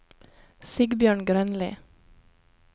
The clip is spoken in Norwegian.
Sigbjørn Grønli